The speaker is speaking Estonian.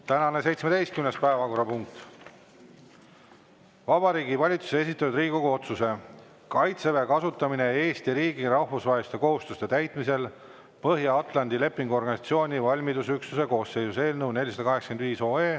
Tänane 17. päevakorrapunkt: Vabariigi Valitsuse esitatud Riigikogu otsuse "Kaitseväe kasutamine Eesti riigi rahvusvaheliste kohustuste täitmisel Põhja-Atlandi Lepingu Organisatsiooni valmidusüksuste koosseisus" eelnõu 485.